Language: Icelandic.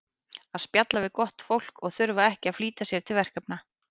að spjalla við gott fólk og þurfa ekki að flýta sér til verkefna